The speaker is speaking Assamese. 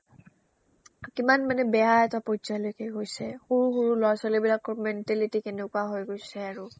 কিমান মানে বেয়া এটা পৰ্যায়লৈকে গৈছে সৰু সৰু ল'ৰা-ছোৱালীবিলাকৰ mentality কেনেকুৱা হৈ গৈছে আৰু